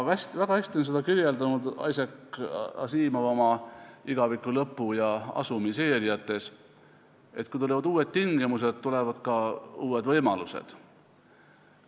Väga hästi on seda kirjeldanud Isaac Asimov oma "Igaviku lõpus" ja "Asumi" sarjas: kui tulevad uued tingimused, tulevad ka uued võimalused.